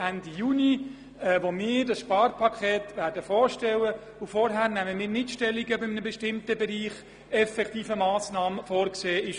Dann stellen wir dieses Sparpaket vor, und vorher nehmen wir keine Stellung, ob in einem bestimmten Bereich tatsächlich Massnahmen vorgesehen sind.